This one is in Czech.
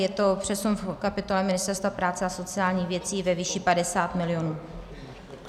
Je to přesun v kapitole Ministerstva práce a sociálních věcí ve výši 50 milionů.